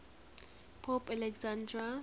pope alexander